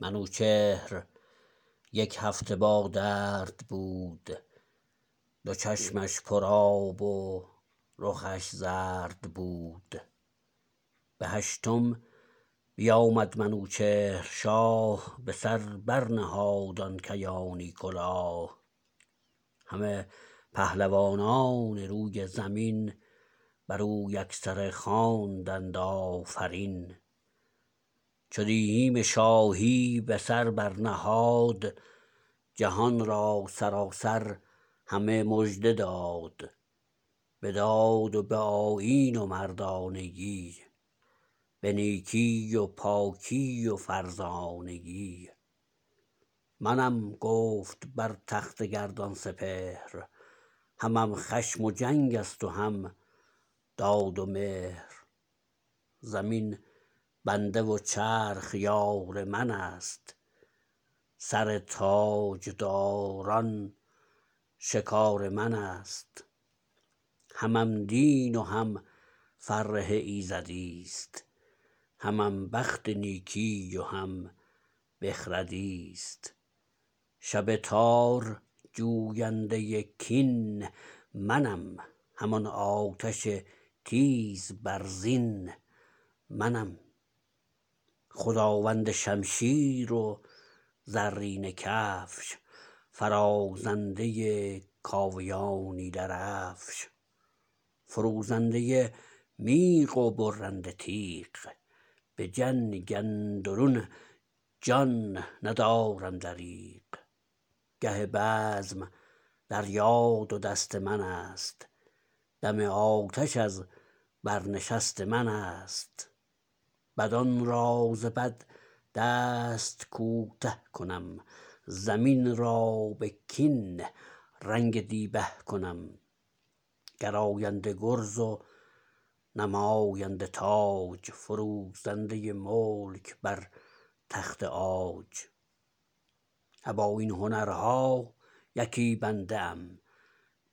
منوچهر یک هفته با درد بود دو چشمش پر آب و رخش زرد بود به هشتم بیامد منوچهر شاه به سر بر نهاد آن کیانی کلاه همه پهلوانان روی زمین بر او یکسره خواندند آفرین چو دیهیم شاهی به سر بر نهاد جهان را سراسر همه مژده داد به داد و به آیین و مردانگی به نیکی و پاکی و فرزانگی منم گفت بر تخت گردان سپهر همم خشم و جنگ است و هم داد و مهر زمین بنده و چرخ یار من است سر تاجداران شکار من است همم دین و هم فره ایزدیست همم بخت نیکی و هم بخردیست شب تار جوینده کین منم همان آتش تیز برزین منم خداوند شمشیر و زرینه کفش فرازنده کاویانی درفش فروزنده میغ و برنده تیغ به جنگ اندرون جان ندارم دریغ گه بزم دریا دو دست من است دم آتش از بر نشست من است بدان را ز بد دست کوته کنم زمین را به کین رنگ دیبه کنم گراینده گرز و نماینده تاج فروزنده ملک بر تخت عاج ابا این هنرها یکی بنده ام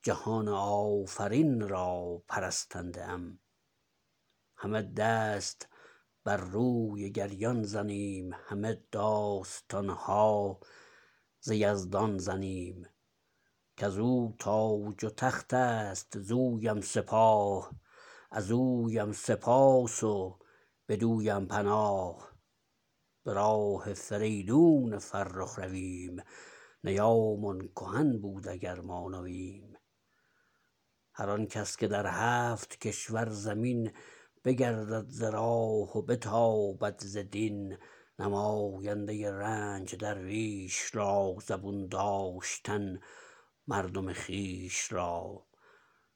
جهان آفرین را پرستنده ام همه دست بر روی گریان زنیم همه داستان ها ز یزدان زنیم کز او تاج و تخت است ز اویم سپاه از اویم سپاس و بدویم پناه به راه فریدون فرخ رویم نیامان کهن بود گر ما نویم هر آن کس که در هفت کشور زمین بگردد ز راه و بتابد ز دین نماینده رنج درویش را زبون داشتن مردم خویش را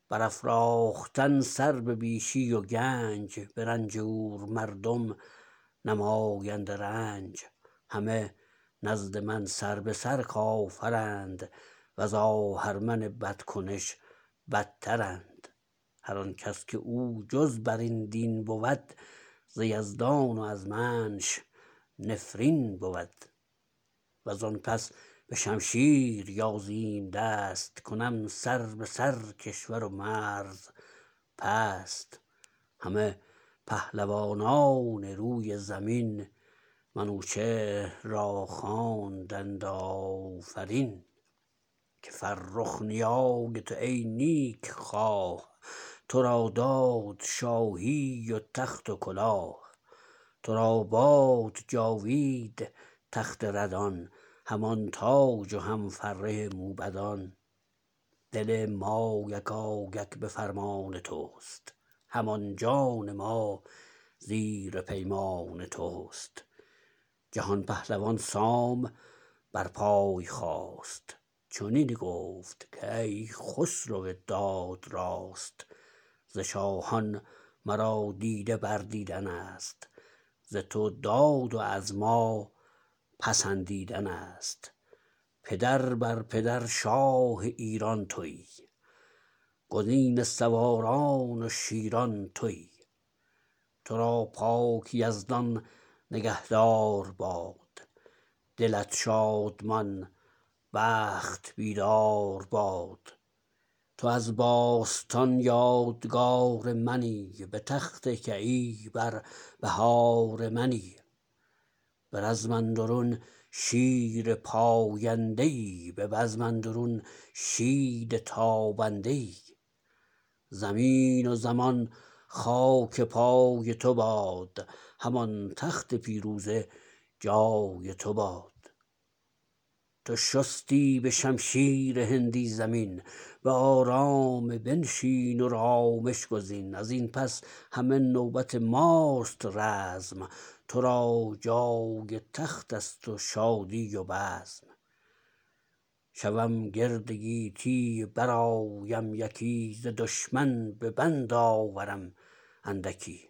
برافراختن سر به بیشی و گنج به رنجور مردم نماینده رنج همه نزد من سر به سر کافرند و ز آهرمن بدکنش بدترند هر آن کس که او جز بر این دین بود ز یزدان و از منش نفرین بود و زان پس به شمشیر یازیم دست کنم سر به سر کشور و مرز پست همه پهلوانان روی زمین منوچهر را خواندند آفرین که فرخ نیای تو ای نیک خواه تو را داد شاهی و تخت و کلاه تو را باد جاوید تخت ردان همان تاج و هم فره موبدان دل ما یکایک به فرمان تو است همان جان ما زیر پیمان تو است جهان پهلوان سام بر پای خاست چنین گفت کای خسرو داد راست ز شاهان مرا دیده بر دیدن است ز تو داد و از ما پسندیدن است پدر بر پدر شاه ایران تویی گزین سواران و شیران تویی تو را پاک یزدان نگه دار باد دلت شادمان بخت بیدار باد تو از باستان یادگار منی به تخت کیی بر بهار منی به رزم اندرون شیر پاینده ای به بزم اندرون شید تابنده ای زمین و زمان خاک پای تو باد همان تخت پیروزه جای تو باد تو شستی به شمشیر هندی زمین به آرام بنشین و رامش گزین از این پس همه نوبت ماست رزم تو را جای تخت است و شادی و بزم شوم گرد گیتی برآیم یکی ز دشمن به بند آورم اندکی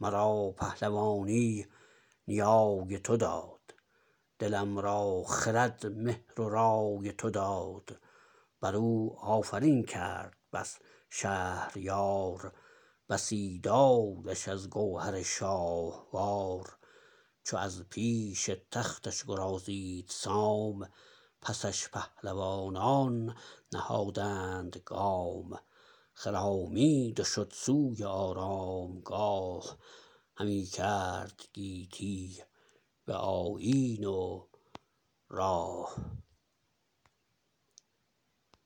مرا پهلوانی نیای تو داد دلم را خرد مهر و رای تو داد بر او آفرین کرد بس شهریار بسی دادش از گوهر شاهوار چو از پیش تختش گرازید سام پسش پهلوانان نهادند گام خرامید و شد سوی آرامگاه همی کرد گیتی به آیین و راه